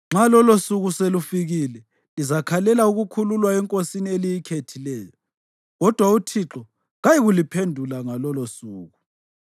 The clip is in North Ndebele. Nxa lolosuku selufikile lizakhalela ukukhululwa enkosini eliyikhethileyo, kodwa uThixo kayikuliphendula ngalolosuku.”